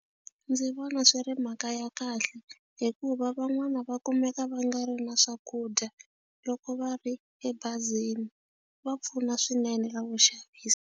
Ndzi vona swi ri mhaka ya kahle hikuva van'wani va kumeka va nga ri na swakudya loko va ri ebazini va pfuna swinene la vuxavisi.